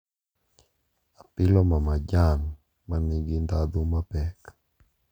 Apilo mamajan ma nigi ndhadhu mapek,